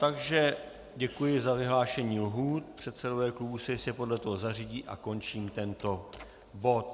Takže děkuji za vyhlášení lhůt, předsedové klubů se jistě podle toho zařídí, a končím tento bod.